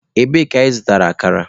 Ebee ka ị zụtara akara?